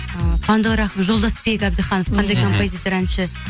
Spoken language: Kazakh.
ы қуандық рахым жолдасбек әбдіханов қандай композитор әнші